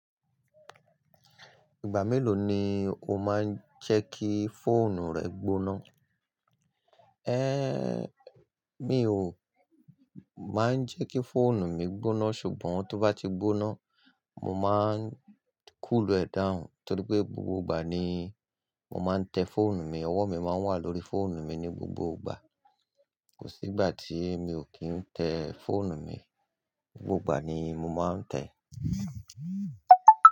Ìgbà mélòó ni o máa ń jẹ́kí fóònù rẹ gbóná? Én, mi ò máa ń jẹ́kí fóònù mi gbóná, ṣùgbọ́n tó bá ti gbóná, mo máa ń cool ẹ̀ down, torí pé gbogbo ìgbà ni mo máa ń tẹ fóònù mi, ọwọ́ mi máa ń wà lórí fóònù mi ní gbogbo ìgbà. Kò sí ìgbà tí mi ò kí ń tẹ fóònù mi, gbogbo ìgbà ni mo máa ń tẹ.